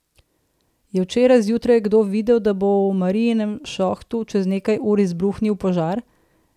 Je včeraj zjutraj kdo vedel, da bo v Marijinem šohtu čez nekaj ur izbruhnil požar?